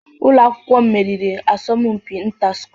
Ụlọ akwụkwọ m meriri asọmpi inter school.